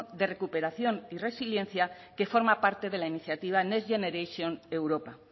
de recuperación y resiliencia que forma parte de la iniciativa next generation europa